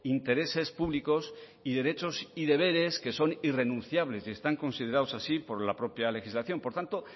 intereses públicos y derechos y deberes que son irrenunciables y están considerados así por la propia legislación por tanto